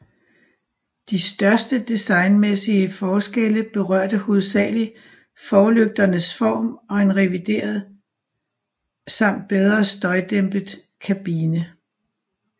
De største designmæssige forskelle berørte hovedsageligt forlygternes form og en revideret samt bedre støjdæmpet kabine